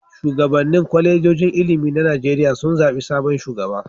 Shugabannin kwalejojin ilimi na Najeriya sun zaɓi sabon shugaba.